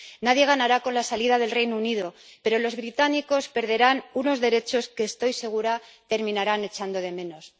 Nadie ganará con la salida del Reino Unido, pero los británicos perderán unos derechos que —estoy segura— terminarán echando de menos.